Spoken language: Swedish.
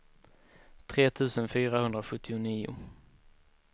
tre tusen fyrahundrasjuttionio